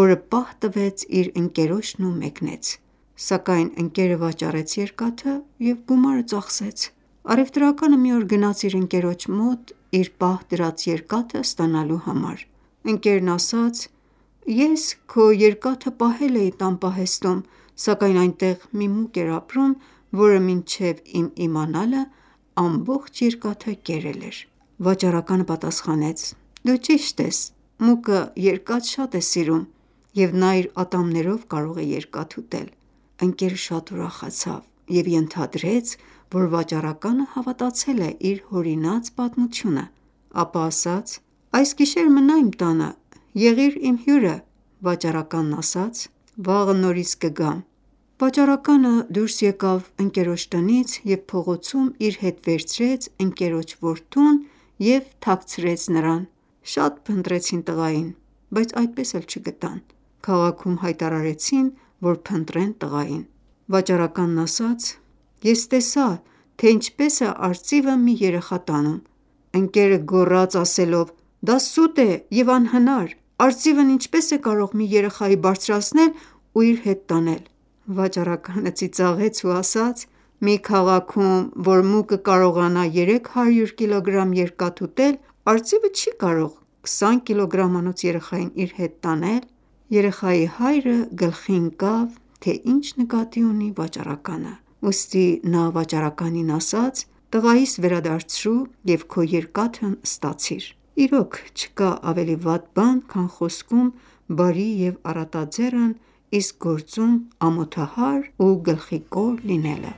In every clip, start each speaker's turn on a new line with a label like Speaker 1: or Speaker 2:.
Speaker 1: որը պահ տվեց իր ընկերոջն ու մեկնեց: Սակայն ընկերը վաճառեց երկաթը և գումարը ծախսեց: Առևտրականը մի օր գնաց իր ընկերոջ մոտ իր պահ դրած երկաթը ստանալու համար, ընկերն ասաց.«Ես քո երկաթը պահել էի տան պահեստում, սակայն այնտեղ մի մուկ էր ապրում, որը մինչև իմ իմանալը, ամբողջ երկաթը կերել էր»: Վաճառականը պատասխանեց. «Դու ճիշտ ես: Մուկը երկաթ շատ է սիրում և նա իր ատամներով կարող է երկաթ ուտել»: Ընկերը շատ ուրախացավ և ենթադրեց, որ վաճառականը հավատացել է իր հորինած պատմութունը: Ապա ասաց.«Այս գիշեր մնա իմ տանը, եղիր իմ հյուրը»: Վաճառականն ասաց.«Վաղը նորից կգամ»: Վաճառակը դուրս եկավ ընկերոջ տնից և փողոցում իր հետ վերցրեց ընկերոջ որդուն և թաքցրեց նրան: Շատ փնտրեցին տղային, բայց այդպես էլ չգտան: Քաղաքում հայտարարեցին որ փնտրեն տղային: Վաճառականն ասաց. «Ես տեսա, թե ինչպես է արծիվը մի երեխա տանում: Ընկերը գոռաց ասելով՝ դա սուտ է և անհնար: Արծիվն ինչպես է կարող մի երեխայի բարձրացնել ու իր հետ տանել: Վաճառականը ծիծաղեց ու ասաց.«Մի քաղաքում, որ մուկը կարողանա 300 կգ երկաթ ուտել, արծիվը չի կարո՞ղ 20 կիլոգրամանոց երեխային իր հետ տանել: Երեխայի հայրը գլխի ընկավ, թե ինչ նկատի ունի վաճառականը: Ուստի նա վաճառականին ասաց. «Տղայիս վերադարձրու և քո երկաթն ստացիր»: Իրոք, չկա ավելի վատ բան, քան խոսքում բարի և առատաձեռն, իսկ գործում ամոթահար ու գլխիկոր լինելը: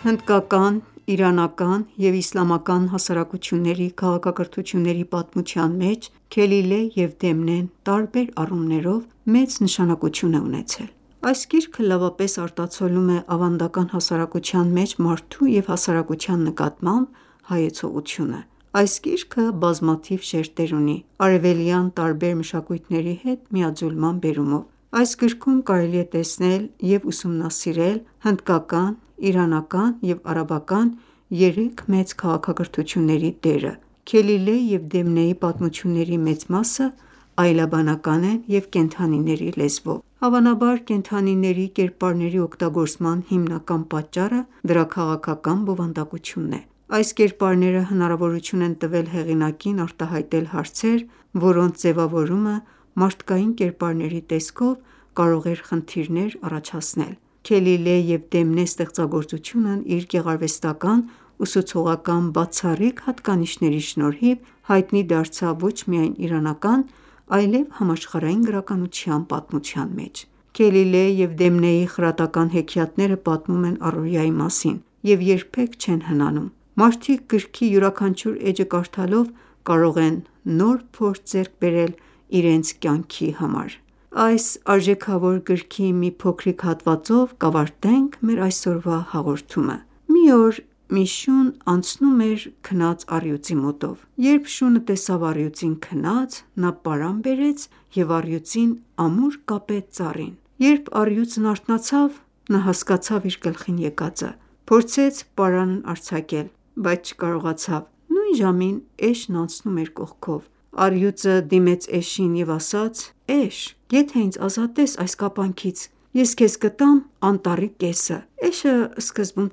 Speaker 1: Հնդկական, իրանական և իսլամական հասարակությունների քաղաքակրթությունների պատմության մեջ «Քելիլե և Դեմնե»-ն տարբեր առումներով մեծ նշանակություն է ունեցել: Այս գիրքը լավապես արտացոլում է ավանդական հասարակության մեջ մարդու և հասարակության նկատմամբ հայեցողությունը: Այս գիրքը բազմաթիվ շերտեր ունի՝ արևելյան տարբեր մշակույթների հետ միաձուլման բերումով: Այս գրքում կարելի է տեսնել և ուսումնասիրել հնդկական, Իրանական և արաբական երեք մեծ քաղաքակրթությունների դերը: «Քելիլե և Դեմնե»-ի պատմությունների մեծ մասը այլաբանական են և կենդանիների լեզվով: Հավանաբար, կենդանիների կերպարների օգտագործման հիմնական պատճառը դրա քաղաքական բովանդակությունն է: Այս կերպարները հնարավորություն են տվել հեղինակին արտահայտել հարցեր, որոնց ձևավորումը մարդկային կերպարների տեսքով կարող էր խնդիրներ առաջացնել: «Քելիլե և Դեմնե» ստեղծագործությունն իր գեղարվեստական-ուսուցողական բացառիկ հատկանիշների շնորհիվ, հայտնի դարձավ ոչ միայն իրանական, այլև համաշխարհային գրականության պատմության մեջ: «Քելիլե և Դեմնե»-ի խրատական հեքիաթները պատմում են առօրյայի մասին և երբեք չեն հնանում: Մարդիկ գրքի յուրաքանչյուր էջը կարդալով կարող են նոր փորձ ձեռք բերել իրենց կյանքի համար: Այս արժեքավոր գրքի մի փոքրիկ հատվածով կավարտենք մեր այսօրվա հաղորդումը: Մի օր մի շուն անցնում էր քնած առյուծի մոտով: Երբ շունը առյուծին քնած տեսավ, պարան բերեց և առյուծին ամուր կապեց ծառին: Երբ առյուծն արթնացավ, նա հասկացավ իր գլխին եկածը, փորձեց պարանն արձակել, բայց չկարողացավ: Նույն ժամին էշն անցնում էր կողքով: Առյուծը դիմեց էշին և ասաց. «Այ Էշ եթե ինձ ազատես այս կապանքից, ես քեզ կտամ անտառի կեսը»: Էշը սկզբում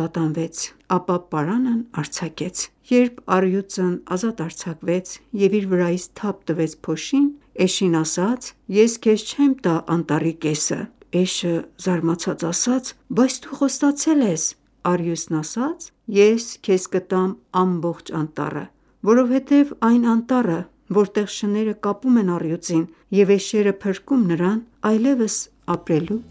Speaker 1: տատանվեց, ապա պարանն արձակեց: Երբ առյուծն ազատ արձակվեց և իր վրայից թափ տվեց փոշին էշին ասաց.«Ես քեզ չեմ տա անտառի կեսը»: Էշը զարմացած ասաց. «Բայց դու խոստացել ես»: Առյուծն ասաց.«Ես քեզ կտամ ամբողջ անտառը: Որովհետև այն անտառը, որտեղ շները կապում են առյուծին և էշերը փրկում նրան, այլևս ապրելու